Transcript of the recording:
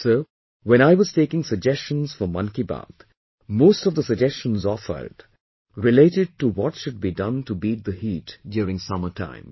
So, when I was taking suggestions for 'Mann Ki Baat', most of the suggestions offered related to what should be done to beat the heat during summer time